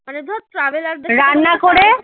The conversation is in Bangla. মানে ধর traveller দের